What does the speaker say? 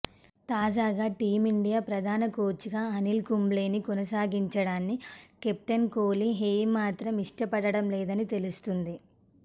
తాజాగా టీమిండియా ప్రధాన కోచ్గా అనిల్ కుంబ్లేని కొనసాగించడాన్ని కెప్టెన్ కోహ్లీ ఏమాత్రం ఇష్టపడటం లేదని తెలుస్తోంది